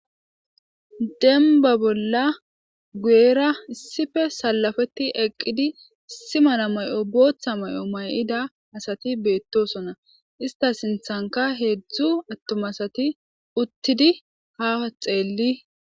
Dembba bolla guyera issippe sallapeti eqqidi issi mala mayo bootha mayo mayida asayi beetosonna. Istta sinththankka heedzdzu attuma asati uttidi ha xeeleteesi.